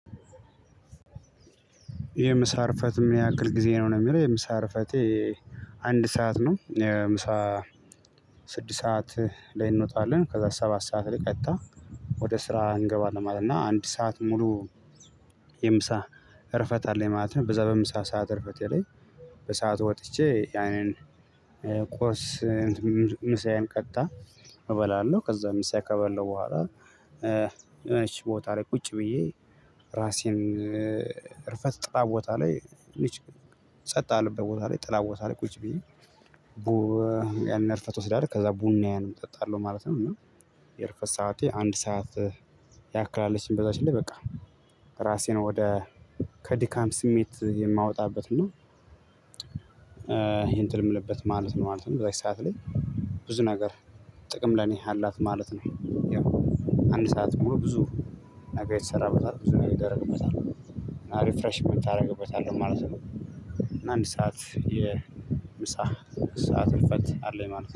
የምሳ እርፈት የሚያክል ጊዜ ነው ነው የሚለው የምሳ እርፈቴ አንድ ሰዓት ነው ምሳ። ስድስት ሰዓት ላይ እንወጣለን ከዛ ሰባት ሰዓት ላይ ቀጥታ ወደ ስራ እንገባለን ማለት ነው። እና አንድ ሰዓት ሙሉ የምሳ እርፈት አለ ማለት ነው። በዛ በምሳ ሰዓት እርፈት ላይ በሰአት ወጥቼ ያንን ቆስ ምሳዬን ቀጥታ እበላለሁ። ከምሳ ከበለው በኋላ የሆነች ቦታ ላይ ቁጭ ብዬ ራሴን ርፈት ጥላ። ቦታ ላይ ልጅ ጸጥ አለበት ቦታ ላይ ጥላ ቦታ ላይ ቁጭ ብዬ እርፈት እወስዳለሁ። ከዛ ቡናዬንም እጠጣለሁ ማለት ነው። እና የእርፈት ሰዓቴ አንድ ሰዓት አካባቢ በዛች ላይ በቃ ራሴን ወደ ከድካም ስሜት የማወጣበት ነው። እንትን የምልበት ማለት ነው ማለት ነው በዛች ሰዓት ላይ ብዙ ነገር ጥቅም ለኔ አላት ማለት ነው። ያው አንድ ሰዓት ብዙ ነገር ይሰራበታል ብዙ ነገ የተደረግበታል ሪፍሬሽን የምታደርግበት አለው ማለት ነው። ነው አንድ ሰዓት የምሳ ሰዓት እንፈት አለኝ ማለት ነው